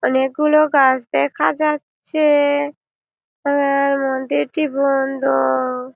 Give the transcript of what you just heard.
অনকে গুলো গাছ দেখা যাচ্ছে-এ তার পরে মুন্দিরটি বন্ধ।